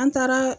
An taara